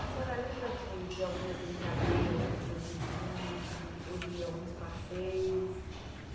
A senhora lembra de de algumas brincadeiras com seus irmãos de ou de alguns passeios?